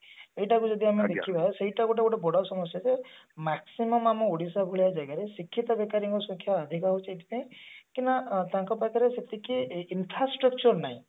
ଏଇଟାକୁ ଯଦି ଆମେ ଦେଖିବା ସେଇଟା ଏଠି ଗୋଟେ ବଡ ସମସ୍ଯା ଯେ maximum ଆମ ଓଡିଶା ଭଳିଆ ଜାଗାରେ ଶିକ୍ଷିତ ବେକାରୀଙ୍କ ସଂଖ୍ୟା ଅଧିକ ହଉଛି ଏଇଥିପାଇଁ କିନା ତାଙ୍କ ପାଖରେ ସେତିକି infrastructure ନାଇଁ